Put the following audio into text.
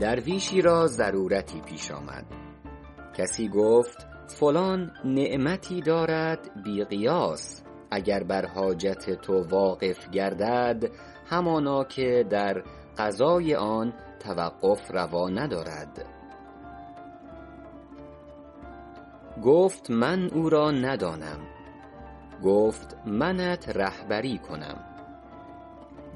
درویشی را ضرورتی پیش آمد کسی گفت فلان نعمتی دارد بی قیاس اگر بر حاجت تو واقف گردد همانا که در قضای آن توقف روا ندارد گفت من او را ندانم گفت منت رهبری کنم